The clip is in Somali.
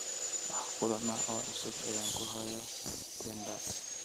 Wax kulan ah oo cusub ayaan ku hayaa tinder